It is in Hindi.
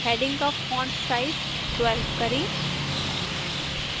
headings का फॉन्टसाइज 12 करें